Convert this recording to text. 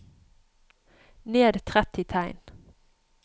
Ned tretti tegn